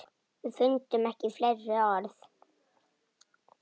Fundum ekki fleiri orð.